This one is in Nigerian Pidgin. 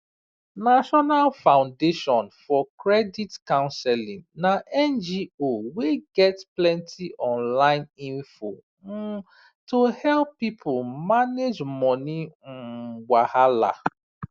national foundation for credit counseling na ngo wey get plenty online info um to help people manage money um wahala